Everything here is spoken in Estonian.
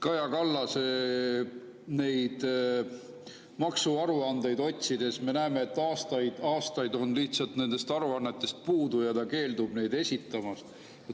Kaja Kallase maksuaruandeid otsides me näeme, et aastaid on olnud lihtsalt nendest aruannetest puudu, ja ta keeldub neid esitamast.